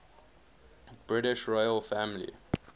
british royal family